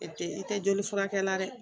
E tɛ i tɛ joli furakɛ la dɛ